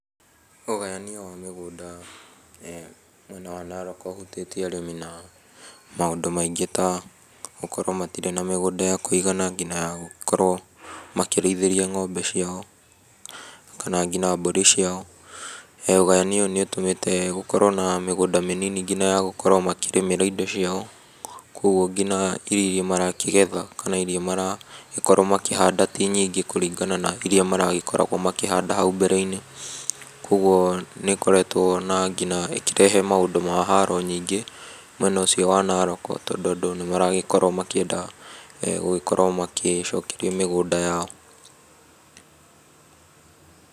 Ũgayania wa mĩgũnda mwena wa Narok ũhutĩtie arĩmi na maũndũ maingĩ ta gũkorwo matirĩ na mĩgũnda ya kũigana nginya ya gũkorwo makĩrĩithĩria ng'ombe ciao kana nginya mbũri ciao. Ũgayania ũyũ nĩ ũtũmĩte gũkorwo na mĩgũnda mĩnini nginya ya gũkorwo makĩrĩmĩra indo ciao. Kwoguo nginya irio marakĩgetha kana irio maragĩkorwo makĩhanda ti nyingĩ kũringana na irĩa maragikoragwo makĩhanda hau mbere-inĩ. Kwoguo na nginya ĩkĩrehe maũndũ ma haro nyingĩ mwena ũcio wa Narok tondũ andũ nĩ maragĩkorwo makĩenda gũgĩkorwo makĩcokerio mĩgũnda yao.